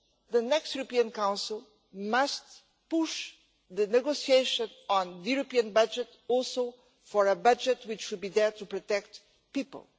the next European Council must push the negotiations on the European budget also for a budget which will be there to protect people.